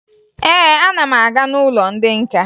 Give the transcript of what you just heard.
Ee, ana m aga n'ụlọ ndị nka